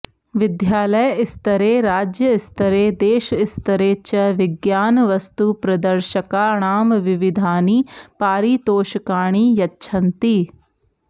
विद्यालयस्तरे राज्यस्तरे देशस्तरे च विज्ञानवस्तुप्रदर्शकाणां विविधानि पारितोषकाणि यच्छन्ति